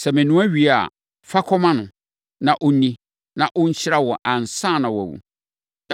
Sɛ menoa wie a, fa kɔma no, na ɔnni, na ɔnhyira wo ansa na wawu.”